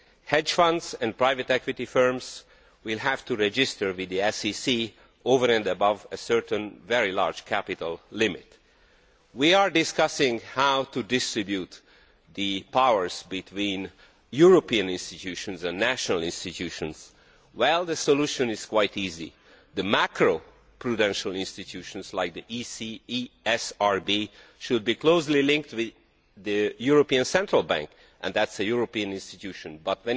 Hedge funds and private equity firms will have to register with the SCC over and above a certain, very large capital limit. We are discussing how to distribute the powers between European institutions and national institutions. Well, the solution is quite easy. The macro prudential institutions, like the ECSRB, should be closely linked with the European Central Bank, a European institution,